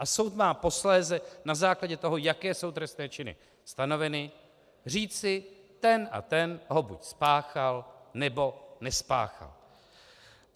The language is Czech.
A soud má posléze na základě toho, jaké jsou trestné činy stanoveny, říci, ten a ten ho buď spáchal, nebo nespáchal.